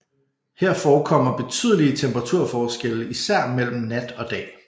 Her forekommer betydelige temperaturforskelle især mellem nat og dag